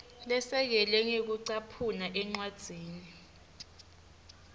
lesekelwe ngekucaphuna encwadzini